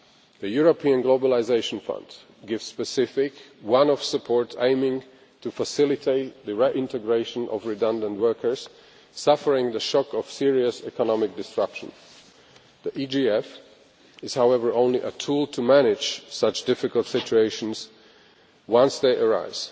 The European Globalisation Fund gives specific one off support aiming to facilitate the reintegration of redundant workers suffering the shock of serious economic disruption. The EGF is, however, only a tool to manage such difficult situations once they arise.